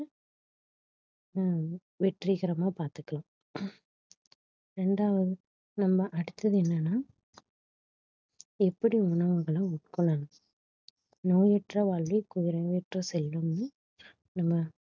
ஆஹ் வெற்றிகரமா பாத்துக்கலாம் ரெண்டாவது நம்ம அடுத்தது என்னன்னா எப்படி உணவுகளை உட்கொள்ளணும் நோயற்ற வாழ்வே குறைவற்ற செல்வம்னு நம்ம